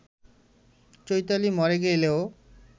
চৈতালি মরে গেলেও